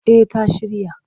Eh ta shirya.